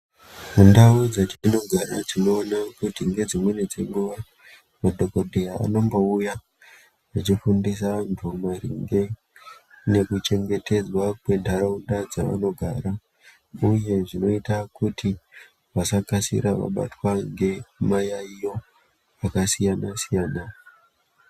Mundau dzetinogara tinomboona kuti ngedzimwei dzenguwa madhokodheya anombouya vechifundisa vantu maringe nekuchengetedzwa kwentaraunda dzavanogara, uye zvinoita kuti vasakasira vabatwa ngemayaiyo akasiyana -siyana.